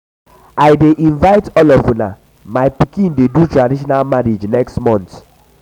i dey invite all of una my pikin dey do um traditional marriage next month next month